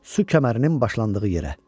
Su kəmərinin başlandığı yerə.